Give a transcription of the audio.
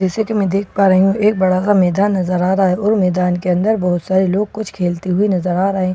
जैसे कि मैं देख पा रही हूं एक बड़ा सा मेदान नजर आ रहा है और मेदान के अंदर बहुत सारे लोग कुछ खेलते हुए नजर आ रहे है --